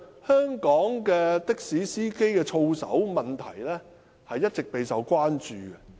香港的士司機的操守問題，一直備受關注。